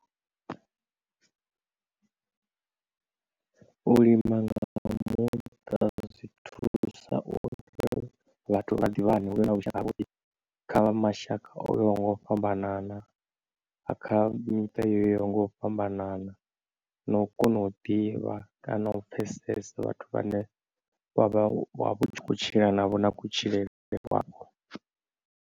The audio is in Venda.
U lima nga muṱa zwi thusa uri vhathu vha ḓivhani huvhe na vhushaka ha vhuḓi kha vha mashaka o yaho ngo u fhambanana, kha miṱa yo yaho nga u fhambanana na u kona u ḓivha kana u pfesesa vhathu vhane vha vha tshi khou tshila navho na kutshilele kwavho.